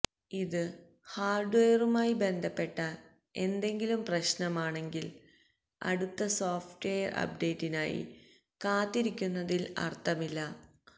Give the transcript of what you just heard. ഇത് ഹാർഡ്വെയറുമായി ബന്ധപ്പെട്ട എന്തെങ്കിലും പ്രശ്നമാണെങ്കിൽ അടുത്ത സോഫ്റ്റ്വയർ അപ്ഡേറ്റിനായി കാത്തിരിക്കുന്നതിൽ അർത്ഥമിലല്